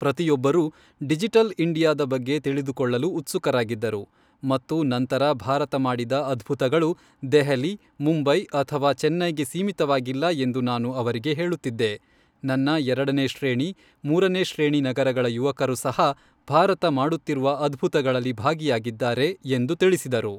ಪ್ರತಿಯೊಬ್ಬರೂ ಡಿಜಿಟಲ್ ಇಂಡಿಯಾದ ಬಗ್ಗೆ ತಿಳಿದುಕೊಳ್ಳಲು ಉತ್ಸುಕರಾಗಿದ್ದರು ಮತ್ತು ನಂತರ ಭಾರತ ಮಾಡಿದ ಅದ್ಭುತಗಳು ದೆಹಲಿ, ಮುಂಬೈ ಅಥವಾ ಚೆನ್ನೈಗೆ ಸೀಮಿತವಾಗಿಲ್ಲ ಎಂದು ನಾನು ಅವರಿಗೆ ಹೇಳುತ್ತಿದ್ದೆ ನನ್ನ ಎರಡನೇ ಶ್ರೇಣಿ , ಮೂರನೇ ಶ್ರೇಣಿ ನಗರಗಳ ಯುವಕರು ಸಹ ಭಾರತ ಮಾಡುತ್ತಿರುವ ಅದ್ಭುತಗಳಲ್ಲಿ ಭಾಗಿಯಾಗಿದ್ದಾರೆ, ಎಂದು ತಿಳಿಸಿದರು.